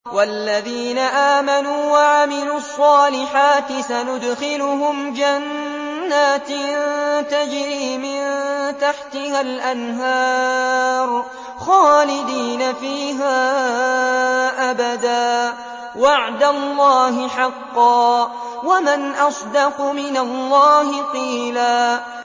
وَالَّذِينَ آمَنُوا وَعَمِلُوا الصَّالِحَاتِ سَنُدْخِلُهُمْ جَنَّاتٍ تَجْرِي مِن تَحْتِهَا الْأَنْهَارُ خَالِدِينَ فِيهَا أَبَدًا ۖ وَعْدَ اللَّهِ حَقًّا ۚ وَمَنْ أَصْدَقُ مِنَ اللَّهِ قِيلًا